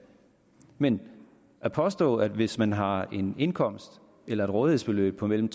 men at påstå at hvis man har en indkomst eller et rådighedsbeløb på mellem